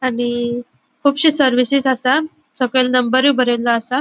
आणि कूबशी सर्विसेस असा सकयल नंबरुय ब्रेलो असा.